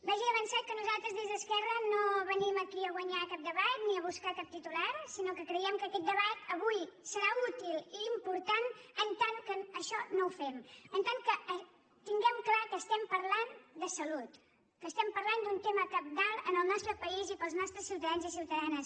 vagi d’avançat que nosaltres des d’esquerra no venim aquí a guanyar cap debat ni a buscar cap titular sinó que creiem que aquest debat avui serà útil i important en tant que això no ho fem en tant que tinguem clar que estem parlant de salut que estem parlant d’un tema cabdal al nostre país i per als nostres ciutadans i ciutadanes